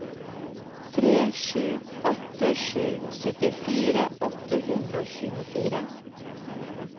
tre sju åtte sju syttifire åtte hundre og tjuefire